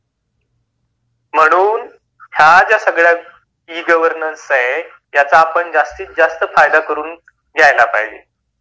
म्हणून या सगळ्या ज्या ई- गवर्नन्स आहेत त्याचा आपण जास्तीत जास्त फायदा करून घ्यायला पाहिजे.